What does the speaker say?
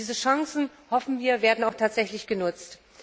Und diese Chancen, hoffen wir, werden auch tatsächlich genutzt.